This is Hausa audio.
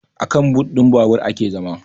Akan but ɗin babur ake zama